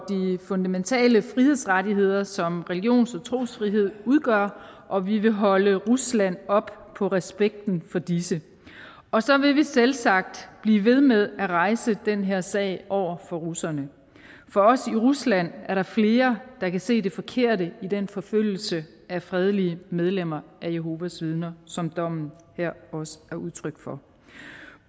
fundamentale frihedsrettigheder som religions og trosfrihed udgør og vi vil holde rusland op på respekten for disse og så vil vi selvsagt blive ved med at rejse den her sag over for russerne for også i rusland er der flere der kan se det forkerte i den forfølgelse af fredelige medlemmer af jehovas vidner som dommen her også er udtryk for